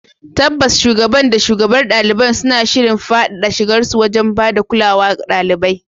Tabbas, Shugaban da shugabar ɗaliban suna shirin faɗaɗa shigarsu wajen ba da kulawa wa ɗaliban.